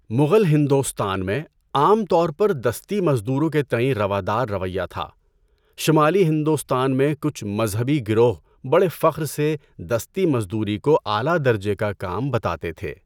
مغل ہندوستان میں، عام طور پر دستی مزدوروں کے تئیں روادار رویہ تھا، شمالی ہندوستان میں کچھ مذہبی گروہ بڑے فخر سے دستی مزدوری کو اعلیٰ درجے کا کام بتاتے تھے۔